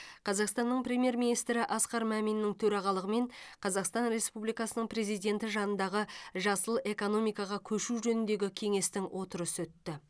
қазақстанның премьер министрі асқар маминнің төрағалығымен қазақстан республикасының президенті жанындағы жасыл экономикаға көшу жөніндегі кеңестің отырысы өтті